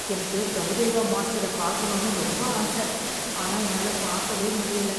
எனக்கு பிரபுதேவா மாஸ்டர பாக்கணும் ரொம்ப ஆச ஆனா என்னால பாக்கவே முடியல.